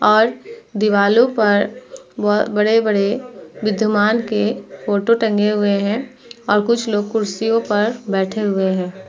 और दीवालों पर बड़े-बड़े विद्वान के फोटो टंगे हुए हैं और कुछ लोग कुर्सियों पे बैठे हुए हैं।